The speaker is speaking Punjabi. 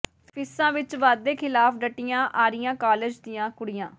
ਫ਼ੀਸਾਂ ਵਿੱਚ ਵਾਧੇ ਖਿਲਾਫ਼ ਡਟੀਆਂ ਆਰੀਆ ਕਾਲਜ ਦੀਆਂ ਕੁੜੀਆਂ